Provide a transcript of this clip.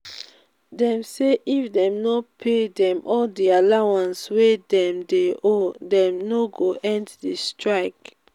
dem say if dem no pay dem all di allowance wey dem dey owe dem no go end di strike.